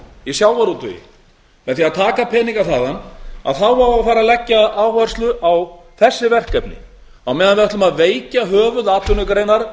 í sjávarútvegi með því að taka peninga þaðan þá á að fara að leggja áherslu á þessi verkefni á meðan við ætlum að veikja höfuðatvinnugreinar